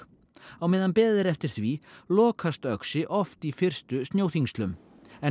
á meðan beðið er eftir því lokast Öxi oft í fyrstu snjóþyngslum en